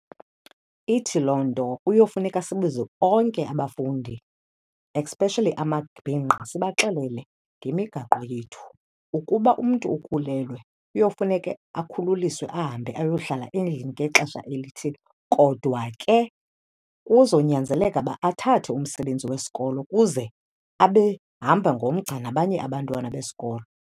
Ithi loo nto kuyofuneka sibize onke abafundi especially amabhinqa, sibaxelele ngemigaqo yethu. Ukuba umntu ukhulelwe kuyofuneke akhululiswe ahambe ayohlala endlini ngexesha elithile. Kodwa ke kuzonyanzeleka uba athathe umsebenzi wesikolo kuze abe hamba ngomgca nabanye abantwana besikolo.